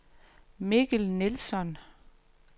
Mikkel Nilsson